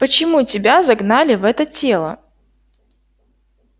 почему тебя загнали в это тело